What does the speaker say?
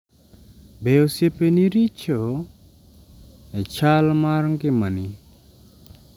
Be, osiepeni richo e chal mar ngimani?